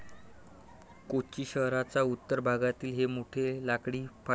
कोची शहराच्या उत्तर भागातील हे मोठे लाकडी फाटक.